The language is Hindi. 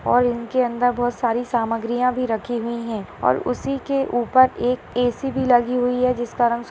और इनके अंदर बहुत सारी सामग्रियां भी रखी हुई है और उसी के ऊपर एक ए.सी. भी लगी हुई है जिसका रंग --